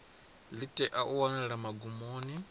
ḽi tea u wanala magumoni